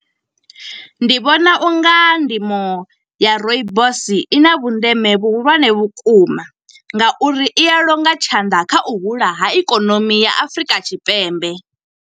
Ndi vhona u nga ndimo ya rooibos i na vhundeme vhuhulwane vhukuma, nga uri i ya longa tshanḓa kha u hula ha ikonomi ya Afurika Tshipembe.